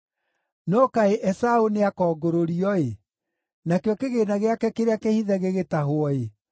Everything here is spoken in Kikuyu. No kaĩ Esaũ nĩakongũrũrio-ĩ, nakĩo kĩgĩĩna gĩake kĩrĩa kĩhithe gĩgĩtahwo-ĩ!